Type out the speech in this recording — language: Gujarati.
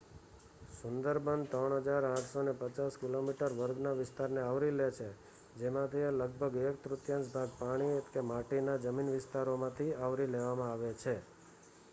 સુંદરબન 3850 કિલોમીટર વર્ગના વિસ્તારને આવરી લે છે જેમાંથિહ લગભગ એક-તૃતીયાંશ ભાગ પાણી/માટીના વિસ્તારોમાંt આવરી લેવામાં આવે છે